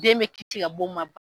Den be kite ka b'o ma